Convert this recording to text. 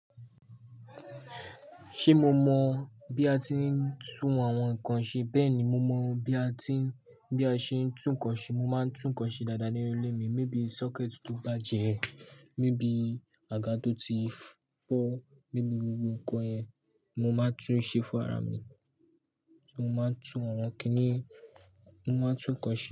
Ṣé mo mọ bí a ti ń tún àwọn nǹkan ṣe bẹ́ẹ̀ni mo mọ bí a ti ń, bí a ṣe ń tún ǹkan ṣe. Mo máa ń tún ǹkan ṣe dáadáa nínú ilé mi. Maybe socket tó bàjẹ́, maybe àga tó ti fọ́, maybe gbogbo ǹkan yen, mo máa tún ṣe fún ara mi. Mo máa ń tún àwọn kíní, mo máa ń tún ǹkan ṣe.